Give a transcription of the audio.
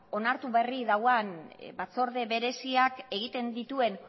onartu berri duen batzorde bereziak egiten dituen